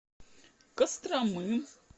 костромы